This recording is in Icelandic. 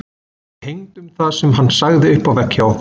Við hengdum það sem hann sagði upp á vegg hjá okkur.